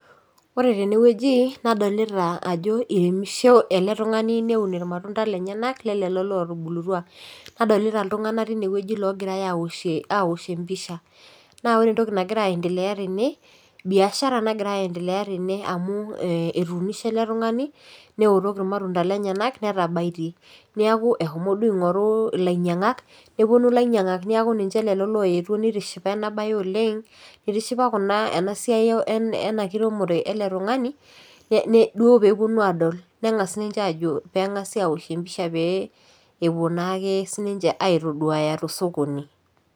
Ore tenewueji nadolita ajo iremisho ele tung'ani neun irmatunda lenyenak lelelo lotubulutua nadolita iltung'anak tinewueji logirae awoshie awoshie empisha naa ore entoki nagira aendelea tene biashara nagira aendelea tene amu etunishe ele tung'ani neotok irmatunda lenyenak netabaitie niaku ehomo duo aing'oru ilainyiak neponu ilainyiang'ak neeku ninche lelo loyetuo nitishipa ena baye oleng itishipa kuna ena siai ena kiremore ele tung'ani ne duo peeponu adol neng'as ninche aajo peng'asi awoshie empisha pee epuo naake sininche aitoduaya tosokoni.